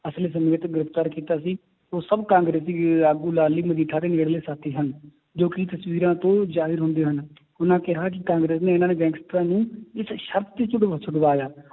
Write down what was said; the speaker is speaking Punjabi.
ਗ੍ਰਿਫ਼ਤਾਰ ਕੀਤਾ ਸੀ ਉਹ ਸਭ ਕਾਂਗਰਸੀ ਆਗੂ ਲਾਲੀ ਮਜੀਠਾ ਦੇ ਨੇੜਲੇ ਸਾਥੀ ਹਨ, ਜੋ ਕਿ ਤਸ਼ਵੀਰਾਂ ਤੋਂ ਜ਼ਾਹਿਰ ਹੁੰਦੇ ਹਨ ਉਹਨਾਂ ਕਿਹਾ ਕਿ ਕਾਂਗਰਸ ਨੇ ਇਹਨਾਂ ਨੇ ਗੈਂਗਸਟਰਾਂ ਨੂੰ ਇਸ ਸਰਤ ਤੇ ਛੁਡ~ ਛੁਡਵਾਇਆ